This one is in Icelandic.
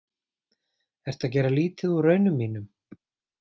Ertu að gera lítið úr raunum mínum?